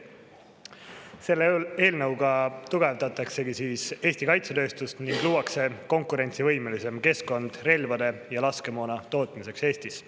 Selle eelnõuga tugevdataksegi Eesti kaitsetööstust ning luuakse konkurentsivõimelisem keskkond relvade ja laskemoona tootmiseks Eestis.